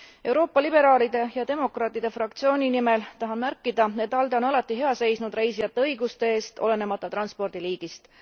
Euroopa Liberaalide ja demokraatide fraktsiooni nimel tahan märkida, et ALDE on alati hea seisnud reisijate õiguste eest, olenemata transpordi liigist.